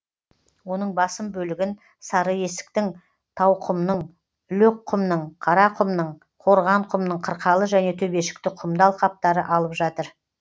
оның басым бөлігін сарыесіктің тауқұмның лөкқұмның қарақұмның қорғанқұмның қырқалы және төбешікті құмды алқаптары алып жатыр